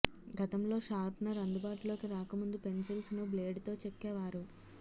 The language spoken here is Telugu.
గతంలో షార్పనర్ అందుబాటులోకి రాకముందు పెన్సిల్స్ ను బ్లేడ్ తో చెక్కే వారు